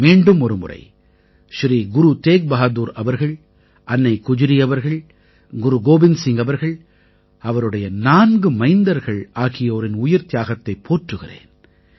மீண்டுமொரு முறை ஸ்ரீ குரு தேக் பஹாதுர் அவர்கள் அன்னை குஜ்ரி அவர்கள் குரு கோவிந்த சிங் அவர்கள் அவருடைய நான்கு மைந்தர்கள் ஆகியோரின் உயிர்த்தியாகத்தைப் போற்றுகிறேன்